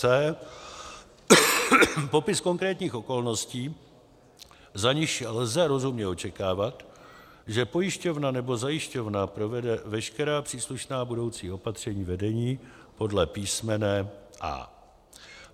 c) popis konkrétních okolností, za nichž lze rozumně očekávat, že pojišťovna nebo zajišťovna provede veškerá příslušná budoucí opatření vedení podle písmene a) ;